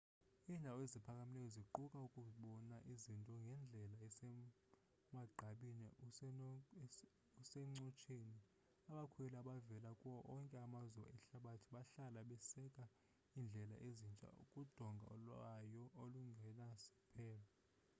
iindawo eziphakamileyo ziquka ukubona izinto ngendlela esemagqabini usencotsheni abakhweli abavela kuwo onke amazwe ehlabathi bahlala beseka iindlela ezintsha kudonga lwayo olungenasiphelo